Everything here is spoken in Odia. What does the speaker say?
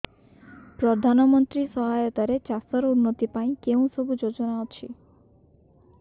ପ୍ରଧାନମନ୍ତ୍ରୀ ସହାୟତା ରେ ଚାଷ ର ଉନ୍ନତି ପାଇଁ କେଉଁ ସବୁ ଯୋଜନା ଅଛି